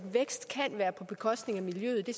hjælpe de